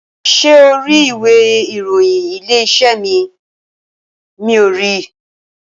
Ṣé o ri ìwé ìròyìn Ilé-iṣẹ́ mi, miò ri?